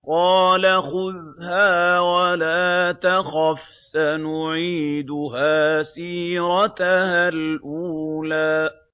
قَالَ خُذْهَا وَلَا تَخَفْ ۖ سَنُعِيدُهَا سِيرَتَهَا الْأُولَىٰ